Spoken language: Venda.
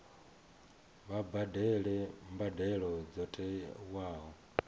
vha badele mbadelo dzo tiwaho